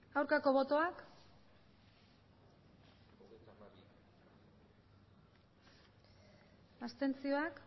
aurkako botoak abstentzioak